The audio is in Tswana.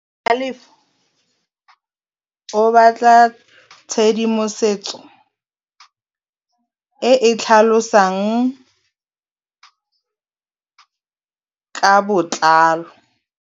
Tlhalefô o batla tshedimosetsô e e tlhalosang ka botlalô.